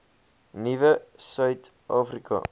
nuwe suid afrika